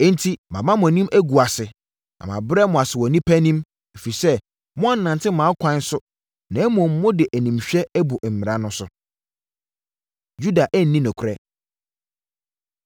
“Enti, mama mo anim agu ase na mabrɛ mo ase wɔ nnipa anim, ɛfiri sɛ moannante mʼakwan so na mmom mode animhwɛ abu mmara so.” Yuda Anni Nokorɛ